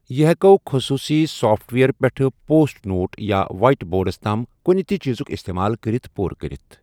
یہِ ہٮ۪کَو خصوٗصی سافٹ ویئر پٮ۪ٹھٕ پوسٹ نوٹ یا وائٹ بورڈَس تام کُنہِ تہِ چیزُک استعمال کٔرِتھ پوٗرٕ کٔرِتھ۔